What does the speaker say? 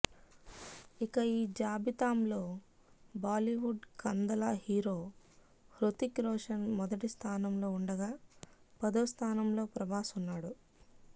ఇక ఈ జాబితాంలో బాలీవుడ్ కందల హీరో హృతిక్ రోషన్ మొదటి స్థానంలో ఉండగా పదో స్థానంలో ప్రభాస్ ఉన్నాడు